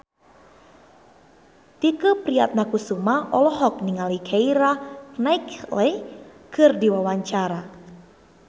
Tike Priatnakusuma olohok ningali Keira Knightley keur diwawancara